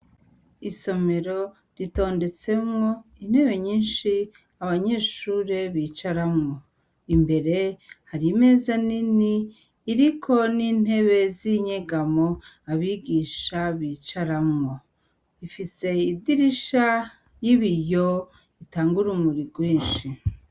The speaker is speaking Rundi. Isomero ritondetsemwo intebe nyinshi abanyeshure bicaramwo, imbere hari imeza nini iriko n'intebe zinyegamo abigisha bicaramwo, ifise idirisha y'ibiyo itanga urumuri rwinshi.